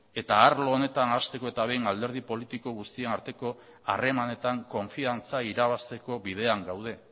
eta arlo honetan hasteko eta behin alderdi politiko guztien arteko harremanetan konfiantza irabazteko bidean gaude